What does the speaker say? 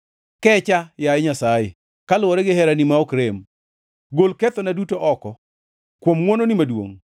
Kecha, yaye Nyasaye, kaluwore gi herani ma ok rem; gol kethona duto oko kuom ngʼwononi maduongʼ.